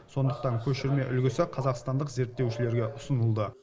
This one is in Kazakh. сондықтан көшірме үлгісі қазақстандық зерттеушілерге ұсынылды